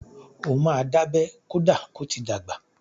Ó máa dábẹ́ kọ́dà ko ti dàgbà.